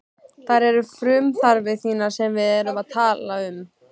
Það eru frumþarfir þínar sem við erum að tala um.